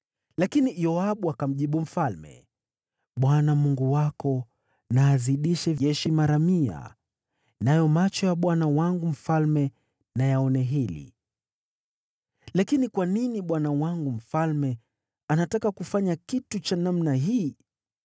Lakini Yoabu akamjibu mfalme, “ Bwana Mungu wako na azidishe jeshi mara mia, nayo macho ya bwana wangu mfalme na yaone hili. Lakini kwa nini bwana wangu mfalme anataka kufanya kitu cha namna hii?”